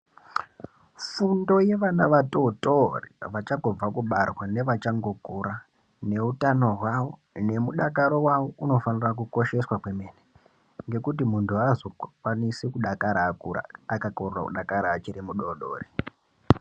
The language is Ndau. Fundo yevana vatotori vachangobva kubarwa nevachangokura neutano hwavo nemudakaro vavo unofanira kukosheswa kwemene. Ngekuti muntu hazo kwanisi kudakara akura akakona kudakara achiri mudodori.